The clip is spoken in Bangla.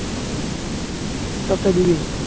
সপ্তায় দুদিন